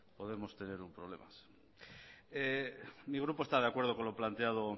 podemos tener un problema mi grupo está de acuerdo con lo planteado